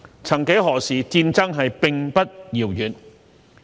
曾幾何時，戰爭並不遙遠。